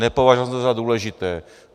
Nepovažoval jsem to za důležité.